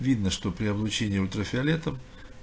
видно что при облучении ультрафиолетом